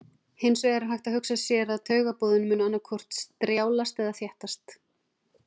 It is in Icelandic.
Hins vegar er hægt að hugsa sér að taugaboðin mundu annaðhvort strjálast eða þéttast.